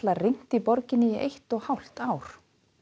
rignt í borginni í eitt og hálft ár